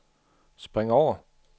spring over